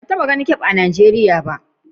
Ban taba gan kafe a'Nijeriya ba.